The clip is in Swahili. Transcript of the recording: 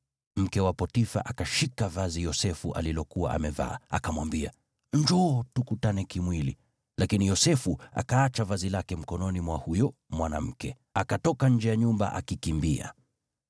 Mke wa Potifa akashika vazi Yosefu alilokuwa amevaa, akamwambia, “Njoo tukutane kimwili!” Lakini Yosefu akaacha vazi lake mkononi mwa huyo mwanamke, akatoka nje ya nyumba akikimbia.